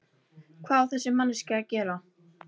Hvað á þessi manneskja að gera?